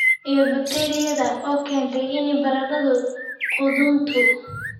iyo bakteeriyada oo keenta in baradho qudhunto